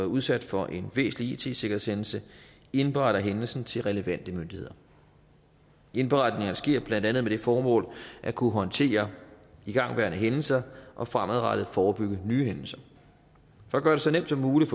udsat for en væsentlig it sikkerhedshændelse indberetter hændelsen til relevante myndigheder indberetninger sker blandt andet med det formål at kunne håndtere igangværende hændelser og fremadrettet forebygge nye hændelser for at gøre det så nemt som muligt